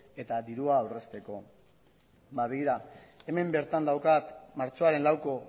eta dirua aurrezteko ba begira hemen bertan daukat martxoaren lauko